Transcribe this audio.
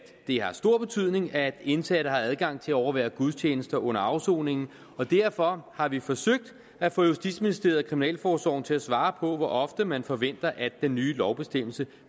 det har stor betydning at indsatte har adgang til at overvære gudstjenester under afsoningen og derfor har vi forsøgt at få justitsministeriet og kriminalforsorgen til at svare på hvor ofte man forventer at den nye lovbestemmelse